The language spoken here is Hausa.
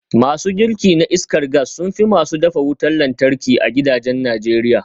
Masu girki na iskar gas sun fi masu dafa wutar lantarki a gidajen Najeriya